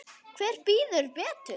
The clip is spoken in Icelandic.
Hver bíður betur?